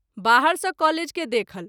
बाहर सँ कॉलेज के देखल।